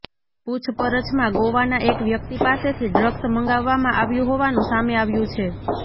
પૂછપરછમાં ગોવાના એક વ્યક્તિ પાસેથી ડ્રગ્સ મંગાવવામાં આવ્યું હોવાનું સામે આવ્યું છે